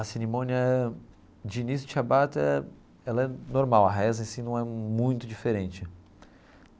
A cerimônia de início de Shabbat, ela é normal, a reza em si não é muito diferente.